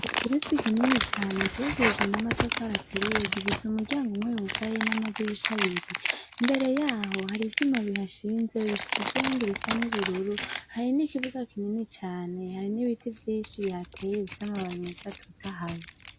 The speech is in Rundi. Ikirezi kinini cane cubakishijwe namatafari aturiye gifise umuryango umwe wugaye namadirisha abiri mbere yaho harivyuma bihashinze bisize irangi risa nubururu hari nikibuga kinini cane hari nibiti vyinshi bihatey bifise amababi meza atotahaye.